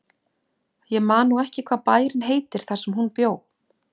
Ég man nú ekki hvað bærinn heitir þar sem hún bjó.